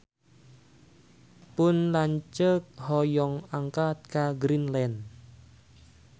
Pun lanceuk hoyong angkat ka Greenland